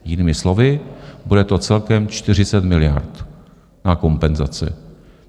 Jinými slovy, bude to celkem 40 miliard na kompenzace.